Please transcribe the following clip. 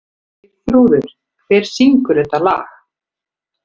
Eyþrúður, hver syngur þetta lag?